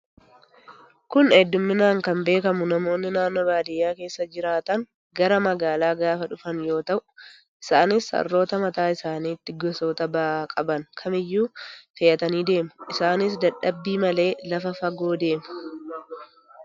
Kun hedduminaan kan beekamu namoonni naannoo baadiyyaa keessa jiraatan gara magaalaa gaafa dhufan yoo ta'u, Isaanis harroota mataa isaaniitti gosoota ba'aa qaban kamiyyuu fe'atanii deemu. Isaanis dadhabbii malee lafa fagoo deemu.